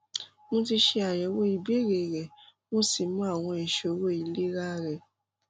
mo ti ṣe àyẹwò ìbéèrè rẹ mo sì mọ àwọn ìṣòro ìlera rẹ